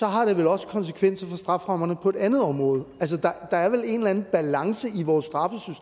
har det vel også konsekvenser for strafferammerne på et andet område altså der er vel en eller anden balance i vores